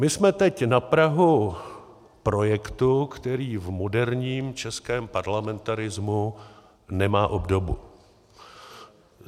My jsme teď na prahu projektu, který v moderním českém parlamentarismu nemá obdobu.